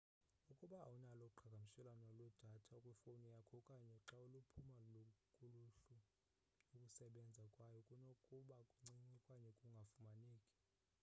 ukuba awunalo uqhagamshelo lwedatha kwifowuni yakho okanye xa luphume kuluhlu ukusebenza kwayo kunokuba ncinci okanye kungafumaneki